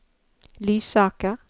Lysaker